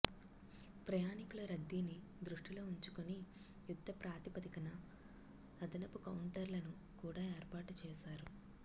ప్రయాణికుల రద్దీని దృష్టిలో ఉంచుకుని యుద్ధ ప్రాతిపదికన అదనపు కౌంటర్లను కూడా ఏర్పాటు చేశారు